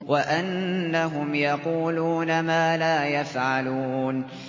وَأَنَّهُمْ يَقُولُونَ مَا لَا يَفْعَلُونَ